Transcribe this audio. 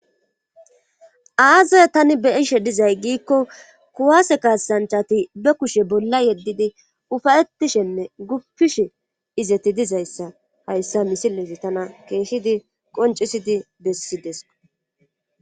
aazaye tani beyishe dizay giikko kuwaase kaasanchati be kushe bolla yeddidi ufayetishenne guppishe izeti dizayssa hayssa misilezi tana keeshshidi qoncisidi bessideso